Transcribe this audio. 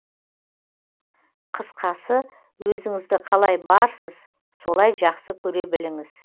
қысқасы өзінізді қалай барсыз солай жақсы көре біліңіз